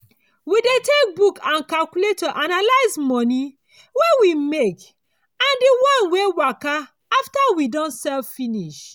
we dey take book and calculator analyze moni wey we make and di wan wey waka after we don sell finish.